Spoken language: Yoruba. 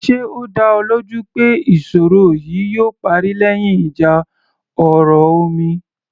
Ṣe ó dá ọ lójú pé ìṣòro yìí yóò parí lẹ́yìn ìjà ọ̀rọ̀ omi